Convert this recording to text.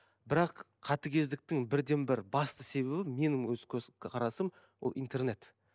бірақ қатыгездіктің бірден бір басты себебі менің өз көз қарасым ол интернет